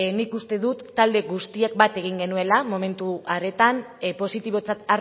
nik uste dut talde guztiek bat egin genuela momentu horretan positibotzat